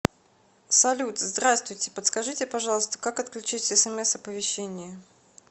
салют здравствуйте подскажите пожалуйста как отключить смс оповещения